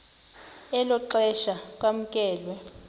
elo xesha kwamkelwe